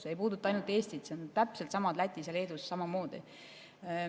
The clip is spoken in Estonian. See ei puuduta ainult Eestit, see on Lätis ja Leedus täpselt samamoodi.